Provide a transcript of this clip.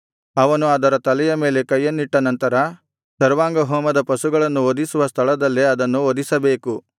ಅವನು ಅದರ ತಲೆಯ ಮೇಲೆ ಕೈಯನ್ನಿಟ್ಟನಂತರ ಸರ್ವಾಂಗಹೋಮದ ಪಶುಗಳನ್ನು ವಧಿಸುವ ಸ್ಥಳದಲ್ಲೇ ಅದನ್ನು ವಧಿಸಬೇಕು